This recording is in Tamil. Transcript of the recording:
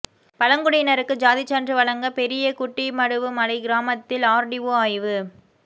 பழங்குடியினருக்கு ஜாதி சான்று வழங்க பெரியகுட்டிமடுவு மலை கிராமத்தில் ஆர்டிஓ ஆய்வு